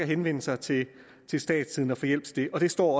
henvende sig til statstidende og få hjælp til det det står